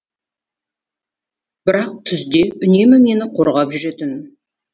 бірақ түзде үнемі мені қорғап жүретін